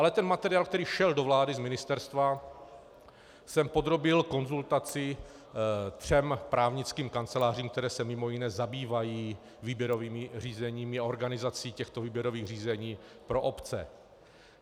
Ale ten materiál, který šel do vlády z ministerstva, jsem podrobil konzultaci třem právnickým kancelářím, které se mimo jiné zabývají výběrovými řízeními a organizací těchto výběrových řízení pro obce.